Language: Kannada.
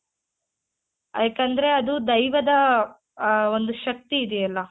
ಆ ಯಾಕಂದ್ರೆ ಅದು ದೈವದ ಆ ಒಂದು ಶಕ್ತಿ ಇದೆಯಲ್ಲ .